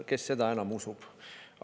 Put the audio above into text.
Kes seda enam usub?